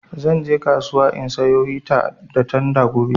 Zan je kasuwa in sayo hita da tanda gobe